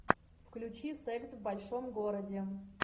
включи секс в большом городе